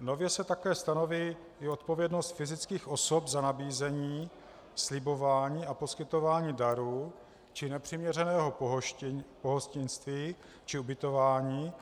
Nově se také stanoví i odpovědnost fyzických osob za nabízení, slibování a poskytování darů či nepřiměřeného pohostinství či ubytování,